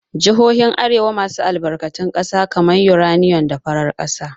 Jihohin arewa maso gabas suna da albarkatun ƙasa kamar uranium da farar ƙasa.